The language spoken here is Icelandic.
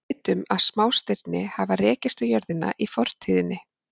Við vitum að smástirni hafa rekist á jörðina í fortíðinni.